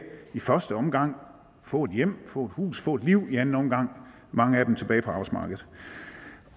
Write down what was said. i første omgang få et hjem få et hus få et liv og i anden omgang mange af dem tilbage på arbejdsmarkedet